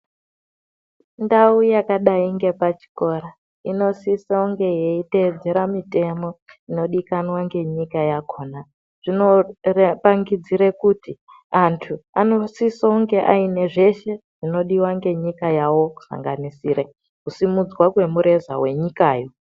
Ndau yakadai ngepachikora inosisounge yeiteedzera mitemo inodikanwa ngenyika yakhona. Zvinopangidzire kuti anhu anosisounge aine zveshe zvinodiwa ngenyika yavo kusanganisire kusumudzwa kwemureza wenyikayo.